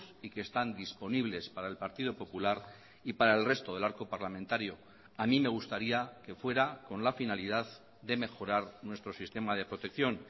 y que están disponibles para el partido popular y para el resto del arco parlamentario a mí me gustaría que fuera con la finalidad de mejorar nuestro sistema de protección